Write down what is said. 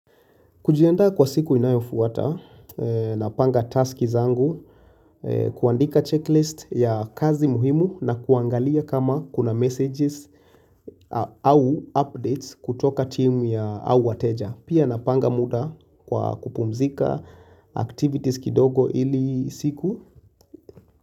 Kujiandaa kwa siku inayofuwata, napanga taski zangu, kuandika checklist ya kazi muhimu na kuangalia kama kuna messages au updates kutoka timu ya au wateja. Pia napanga muda kwa kupumzika activities kidogo ili siku.